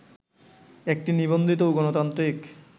একটি নিবন্ধিত ও গণতান্ত্রিক